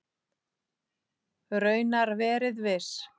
Raunar verið viss.